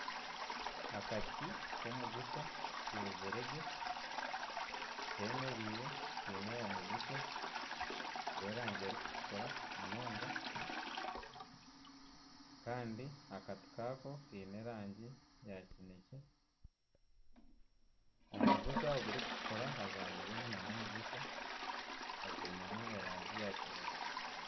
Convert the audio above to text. Akati k'omugusha keezire gye, kemereire kaine omugusha gw'erangi erikutukura munonga. Kandi akati kaako kaine erangi eya kinekye. Omu mugusha ogurikutukura hajwangizemu n'omugusha ogwinemu erangi ya kinekye.